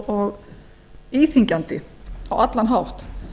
og íþyngjandi á allan hátt